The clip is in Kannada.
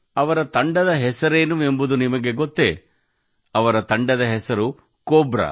ಅವರ ತಂಡದ ಹೆಸರೇನು ಎಂದು ನಿಮಗೆ ಗೊತ್ತೇ ಅವರ ತಂಡದ ಹೆಸರುಕೋಬ್ರಾ